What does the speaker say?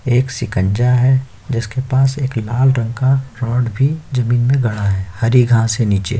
एक सिकंजा है जिसके पास एक लाल रंग का रॉड भी जमीन में गड़ा है हरी घास है नीचे --